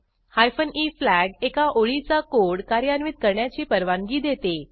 hyphen e flag एका ओळीचा code कार्यान्वित करण्याची परवानगी देते